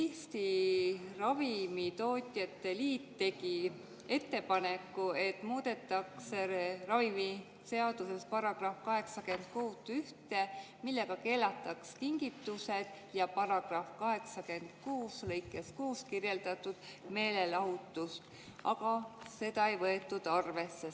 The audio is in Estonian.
Eesti Ravimitootjate Liit tegi ettepaneku, et muudetaks ravimiseaduses § 86 lõiget 1, millega keelataks kingitused, ja § 86 lõikes 6 märgitud meelelahutus, aga seda ei võetud arvesse.